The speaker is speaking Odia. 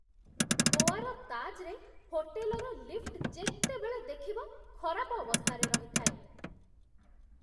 ଗୋଆର 'ତାଜ୍'ରେ ହୋଟେଲର ଲିଫ୍ଟ ଯେତେବେଳେ ଦେଖିବ ଖରାପ ଅବସ୍ଥାରେ ରହିଥାଏ।